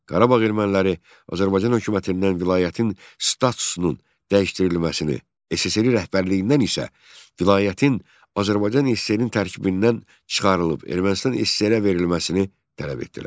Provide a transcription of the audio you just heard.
Qarabağ erməniləri Azərbaycan hökumətindən vilayətin statusunun dəyişdirilməsini, SSRİ rəhbərliyindən isə vilayətin Azərbaycan SSR-nin tərkibindən çıxarılıb Ermənistan SSR-ə verilməsini tələb etdilər.